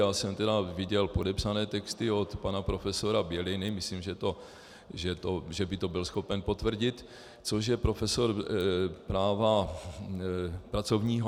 Já jsem tedy viděl podepsané texty od pana profesora Běliny, myslím, že by to byl schopen potvrdit, což je profesor práva pracovního.